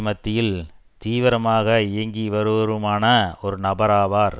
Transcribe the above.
மத்தியில் தீவிரமாக இயங்கி வருபவருமான ஒரு நபராவார்